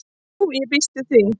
"""Jú, ég býst við því"""